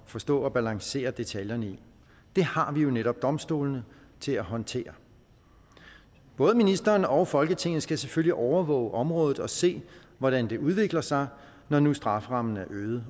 forstå og balancere detaljerne i det har vi jo netop domstolene til at håndtere både ministeren og folketinget skal selvfølgelig overvåge området og se hvordan det udvikler sig når nu strafferammen er øget